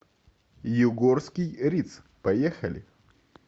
югорский риц поехали